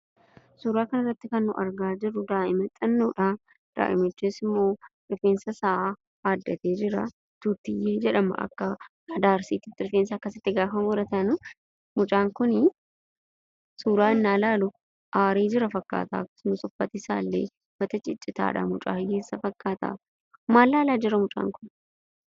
Suuraa kanarratti kan nu argaa jirru, daai'ma xinnoodhaa, daai'imichis immoo rifeensa isaa aaddatee jira. Tuutiyyee jedhama akka aadaa arsiititti rifeensa akkasitti gaafa muratanii . Mucaan kunii, suuraa ennaa ilaalu aaree jira fakkaata , uffatni isaa illee ciccitaadha ,mucaa hiyyeessaa fakkaata. Maal laalaa jira mucaan Kun?